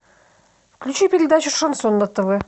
включи передачу шансон на тв